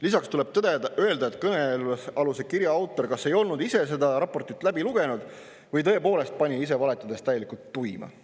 Lisaks tuleb öelda, et kõnealuse kirja autor kas ei olnud ise seda raportit läbi lugenud või tõepoolest pani ise valetades täielikult tuima.